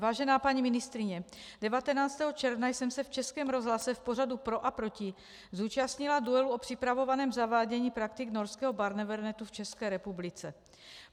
Vážená paní ministryně, 19. června jsem se v Českém rozhlase v pořadu Pro a proti zúčastnila duelu o připravovaném zavádění praktik norského Barnevernu v České republice.